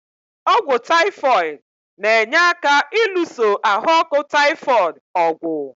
Ọ́gwụ́ taịfoid na-enye aka ịlụso ahụ ọkụ taịfoid ọ̀gwụ̀.